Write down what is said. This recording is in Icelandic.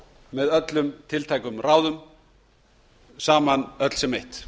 með öllum tiltækum ráðum saman öll sem eitt